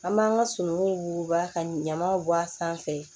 An b'an ka sonuw wuguba ka ɲamaw bɔ a sanfɛ